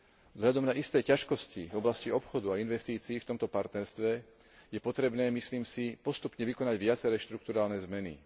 Vzhľadom na isté ťažkosti v oblasti obchodu a investícií v tomto partnerstve je potrebné, myslím si, postupne vykonávať viaceré štrukturálne zmeny.